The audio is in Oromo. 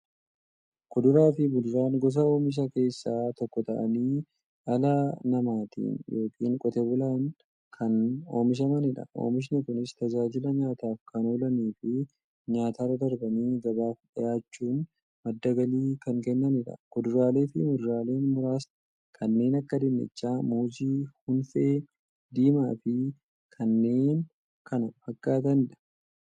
Kuduraafi muduraan gosa oomishaa keessaa tokko ta'anii, dhala namaatin yookiin Qotee bulaadhan kan oomishamaniidha. Oomishni Kunis, tajaajila nyaataf kan oolaniifi nyaatarra darbanii gabaaf dhiyaachuun madda galii kan kennaniidha. kuduraaleefi muduraalee muraasni kanneen akka; dinnichaa, muuzii, hunfee diimaafi kanneen kana fakkaataniidha.